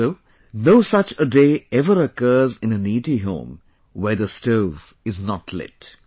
So, no such a day ever occurs in a needy home when the stove is not lit